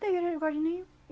Tem resguardo nenhum.